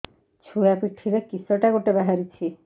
ଛୁଆ ପିଠିରେ କିଶଟା ଗୋଟେ ବାହାରିଛି